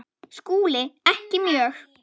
SKÚLI: Ekki mjög.